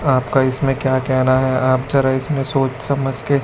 आपका इसमें क्या कहना है आप जरा इसमें सोच समझ के--